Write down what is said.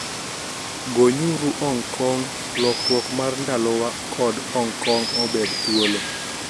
" Gonyuru Hong Kong, Lokruok mar Ndalowa ", kod " Hong Kong obed thuolo "